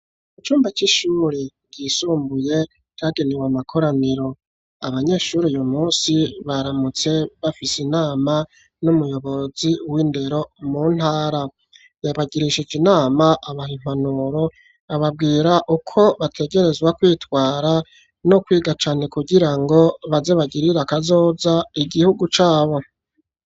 Icumba c'ishuri ryisumbuye cagenewe amakoraniro; abanyeshure uyu munsi baramutse bafise inama n'umuyobozi w'indero mu ntara. Yabagirishije inama abaha impanuro ababwira uko bategerezwa kwitwara no kwiga cane kugira ngo baze bagirira kazoza igihugu cabo.